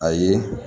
Ayi